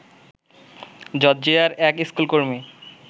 জর্জিয়ার এক স্কুলকর্মী